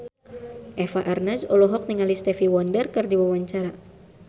Eva Arnaz olohok ningali Stevie Wonder keur diwawancara